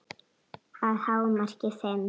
Að hámarki fimm.